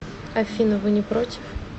афина вы не против